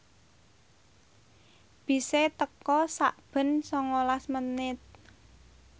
bise teka sakben sangalas menit